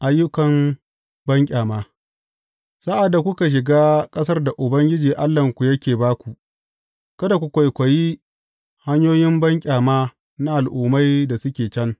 Ayyukan Banƙyama Sa’ad da kuka shiga ƙasar da Ubangiji Allahnku yake ba ku, kada ku kwaikwayi hanyoyin banƙyama na al’ummai da suke can.